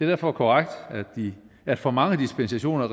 derfor korrekt at for mange dispensationer